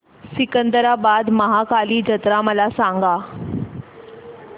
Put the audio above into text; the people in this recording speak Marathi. सिकंदराबाद महाकाली जत्रा मला सांगा